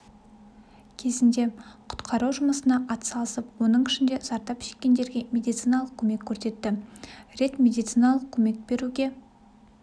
кезінде құтқару жұмысына атсалысып оның ішінде зардап шеккендерге медициналық көмек көрсетті рет медициналық көмек беруге